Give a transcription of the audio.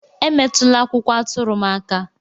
Emetụla akwụkwọ atụrụ m aka!